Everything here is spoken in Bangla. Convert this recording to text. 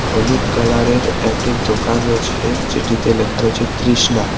হলুদ কালার -এর একটি দোকান রয়েছে যেটিতে লেখা রয়েছে তৃষ্ণা।